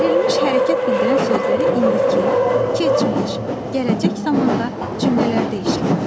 Verilmiş hərəkət bildirən sözləri indiki, keçmiş, gələcək zamanda cümlələrdə işlət.